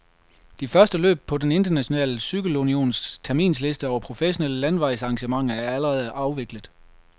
De første løb på den internationale cykelunions terminsliste over professionelle landevejsarrangementer er allerede afviklet.